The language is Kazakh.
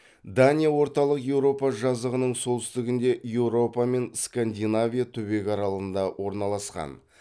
дания орталық еуропа жазығының солтүстігінде еуропа мен скандинавия түбегі аралығында орналасқан